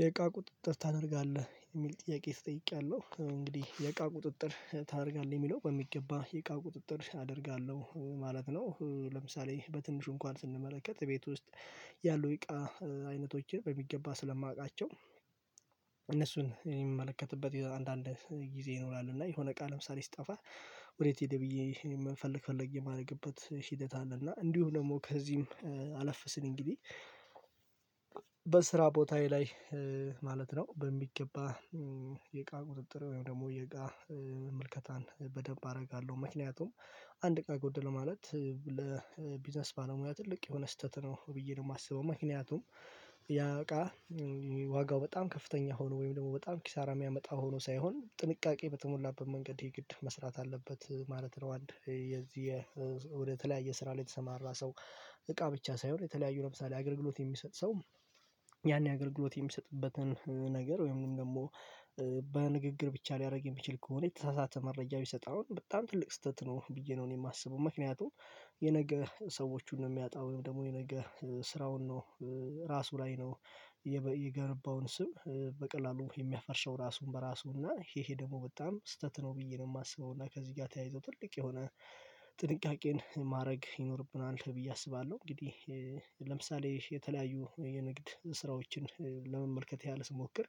የእቃ ቁጥጥር ታደርጋለህ የሚል ጥያቄ ተጠይቄያለሁ እንግዲህ የእቃ ቁጥጥር ታደርጋለህ የሚለው በሚገባ የእቃ ቁጥጥር አደርጋለሁ ማለት ነው። ለምሳሌ በትንሹ እንኳን ስንመለከት ቤት ውስጥ ያሉ የእቃ አይነቶችን በሚገባ ስለማውቃቸው እነሱን እኔ የምመለከትበት የ አንዳንድ ጊዜ ይኖራል እና የሆነ እቃ ለምሳሌ ሲጠፋ ወዴት ሄደ ብዬ ፈለግ ፈለግ የማደርግበት ሂደት አለ። እና እንዲሁም ደግሞ ከዚህም አለፍ ሲል እንግዲህ በስራ ቦታዬ ላይ ማለት ነው በሚገባ እቃ ቁጥጥር ወይም ደግሞ የእቃ ምልከታን በደንብ አደርጋለሁ። ምክንያቱም አንድ እቃ ጎደለ ማለት ለቢዝነስ ባለሙያ ትልቅ የሆነ ስህተት ነው ብዬ ነው የማስበው ምክንያቱም ያእቃ ዋጋው በጣም ከፍተኛ ሆኖ ወይም ደግሞ በጣም ኪሳራ የሚያመጣ ሆኖ ሳይሆን ጥንቃቄ በተሞላበት መንገድ የግድ መስራት አለበት ማለት ነው። አንድ የዚህ የ ወደ ተለያየ ስራ ላይ የተሰማራ ሰው እቃ ብቻ ሳይሆን የተለያዩ ለምሳሌ አገልግሎት የሚሰጥ ሰው ያን አገልግሎት የሚሰጥበትን ነገር ወይም ደግሞ በንግግር ብቻ ሊያደርግ የሚችል ከሆነ የተሳሳተ መረጃ ቢሰጠውም በጣም ትልቅ ስህተት ነው ብዬ ነው እኔ የማስበው። ምክንያቱም የነገ ሰዎቹን ነው የሚያጣው ወይም ደግሞ የነገ ስራውን ነው ራሱ ላይ ነው የበ የገነባውን ስም በቀላሉ የሚያፈርሰው ራሱን በራሱ እና ይሄ ይሄ ደግሞ በጣም ስህተት ነው ብዬ ነው የማስበው እና ከዚህ ጋር ተያይዞ ትልቅ የሆነ ጥንቃቄን ማድረግ ይኖርብናል ብዬ አስባለሁ። እንግዲህ ለምሳሌ የተለያዩ የንግድ ስራዎችን ለመመልከት ያህል ስሞክር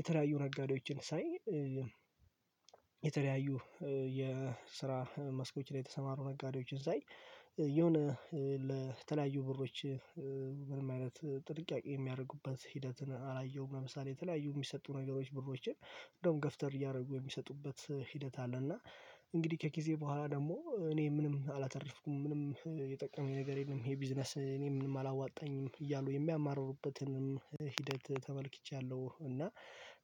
የተለያዩ ነጋዴዎችን ሳይ የተለያዩ የስራ መስኮች ላይ የተሰማሩ ነጋዴዎችን ሳይ የሆነ ለተለያዩ ብሮች ምንም አይነት ጥንቃቄ የሚያደርጉበት ሂደትን አላየሁም። ለምሳሌ የተለያዩ የሚሰጡ ነገሮች ብሮችን እንደውም ገፍተር እያደረጉ የሚሰጡበት ሂደት አለ እና እንግዲህ ከጊዜ በኋላ ደግሞ እኔ ምንም አላተረፍኩም ምንም የጠቀመኝ ነገር የለም ይሄ ቢዝነስ እኔ ምንም አላዋጣኝም እያሉ የሚያማርሩበትንም ሂደት ተመልክቻለሁ እና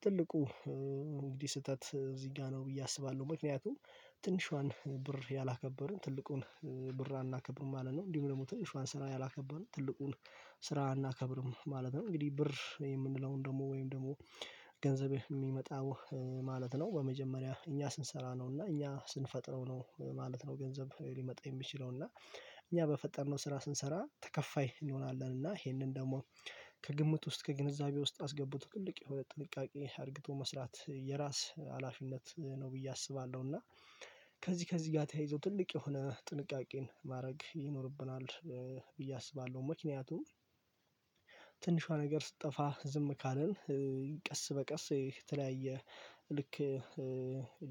ትልቁ እንግዲህ ስህተት እዚህ ጋር ነው ብዬ አስባለሁ። ምክንያቱም ትንሿን ብር ያላከበሩ ትልቁን ብር አናከብርም ማለት ነው እንዲሁም ደግሞ ትንሹን ስራ ያላከበሩ ትልቁን ስራ አናከብርም ማለት ነው። እንግዲህ ብር የምንለውን ደግሞ ወይም ደግሞ ገንዘብህ የሚመጣው ማለት ነው በመጀመሪያ እኛ ስንሰራ ነው እና እኛ ስንፈጥረው ነው ማለት ነው ገንዘብ ሊመጣ የሚችለው እና እኛ በፈጠርነው ስራ ስንሰራ ተከፋይ እንሆናለን እና ይሄንን ደግሞ ከግምት ውስጥ ከግንዛቤ ውስጥ አስገብቶ ትልቅ የሁለት ጥንቃቄ አርግቶ መስራት የራስ ሀላፊነት ነው ብዬ አስባለሁ። እና ከዚህ ከዚህ ጋር ተያይዞ ትልቅ የሆነ ጥንቃቄን ማድረግ ይኖርብናል ብዬ አስባለሁ። ምክንያቱም ትንሿ ነገር ስጠፋ ዝም ካልን ቀስ በቀስ የተለያየ ልክ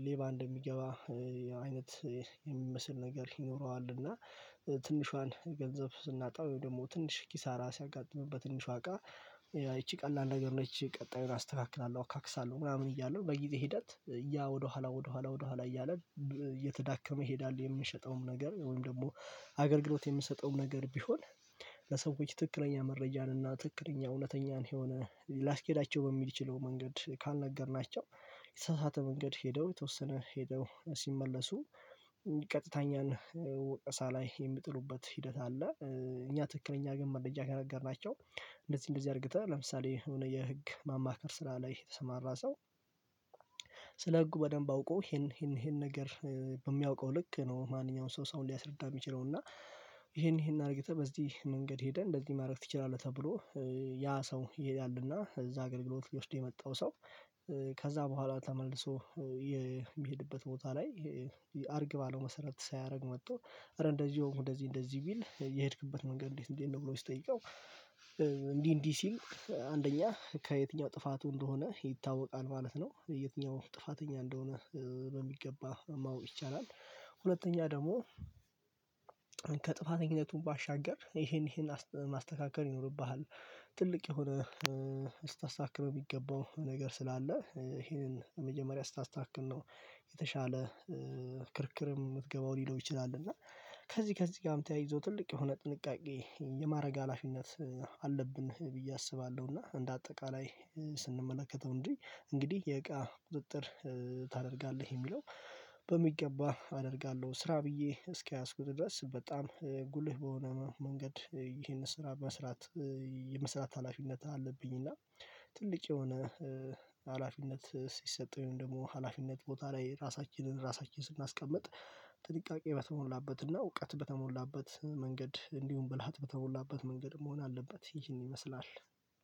ሌባ እንደሚገባ አይነት የሚመስል ነገር ይኖረዋል እና ትንሿን ገንዘብ ስናጣ ወይም ደግሞ ትንሽ ኪሳራ ሲያጋጥመን በትንሿ እቃ ይቺ ቀላል ነገር ነች ቀጣዩን አስተካክላለሁ አካክሳለሁ ምናምን እያሉ በጊዜ ሂደት ያ ወደኋላ ወደኋላ ወደኋላ እያለ እየተዳከመ ይሄዳል። የምንሸጠውም ነገር ወይም ደግሞ አገል ግሎት የምንሰጠውም ነገር ቢሆን ለሰዎች ትክክለኛ መረጃን እና ትክክለኛ እውነተኛን የሆነ ሊያስኬዳቸው በሚች ለው መንገድ ካልነገርናቸው የተሳሳተ መንገድ ሄደው የተወሰነ ሄደው ሲመለሱ ቀጥተኛና ወቀሳ ላይ የሚጥሉበት ሂደት አለ። እኛ ትክክለኛ ግን መረጃ ከነገርናቸው እንደዚህ እንደዚህ አድርገህ ለምሳሌ የህግ ማማከር ስራ ላይ የተሰማራ ሰው ስለ ህጉ በደንብ አውቆ ይሄን ይሄን ይሄን ነገር በሚያውቀው ልክ ነው ማንኛውም ሰው ሰውን ሊያስረዳ የሚችለው እና ይሄን ይሄን አድርገህ በዚህ መንገድ ሄደህ እንደዚህ ማድረግ ትችላለህ። ተብሎ ያ ሰው ይሄዳልና እዛ አገልግሎት ሊወስድ የመጣው ሰው ከዛ በኋላ ተመልሶ የሚሄድበት ቦታ ላይ አርግባ ለው መሰረት ሳያደርግ መጥቶ ኧረ እንደዚህ ሆንኩ እንደዚህ እንደዚህ ቢል የሄድክበት መንገድ እንዴት እንዴት ነው? ብሎ ሲጠይቀው እንዲህ እንዲህ ሲል አንደኛ ከየትኛው ጥፋቱ እንደሆነ ይታወቃል ማለት ነው የትኛው ጥፋተኛ እንደሆነ በሚገባ ማወቅ ይቻላል። ሁለተኛ ደግሞ ከጥፋት ኝነቱም ባሻገር ይሄን ይሄን አሰ ማስተካከል ይኖርብሃል ትልቅ የሆነ ልታስተካክለው የሚገባው ነገር ስላለ ይሄንን መጀመሪያ ስታስተካክል ነው የተሻለ ክርክርም የምትገባው ሊለው ይችላል። እና ከዚህ ከዚህ ጋርም ተያይዞ ትልቅ የሆነ ጥንቃቄ የማድረግ ሀላፊነት አለብን ብዬ አስባለሁ። እና እንደ አጠቃላይ ስንመለከተው እንዴ እንግዲህ የእቃ ቁጥጥር ታደርጋለህ የሚለው በሚገባ አደርጋለሁ ስራ ብዬ እስኪያዝኩት ድረስ በጣም ጉልህ በሆነ መንገድ ይህን ስራ መስራት የመስራት ሀላፊነት አለብኝ። እና ትልቅ የሆነ ሀላፊነት ሲሰጠኝ ደግሞ ሀላፊነት ቦታ ላይ ራሳችንን ራሳችንን ስናስቀምጥ ጥንቃቄ በተሞላበት እና እውቀት በተሞላበት መንገድ እንዲሁም ብልሃት በተሞላበት መንገድ መሆን አለበት። ይህን ይመስላል።